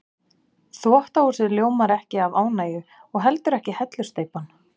Þvottahúsið ljómar ekkert af ánægju og heldur ekki hellusteypan.